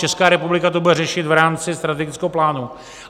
Česká republika to bude řešit v rámci strategického plánu.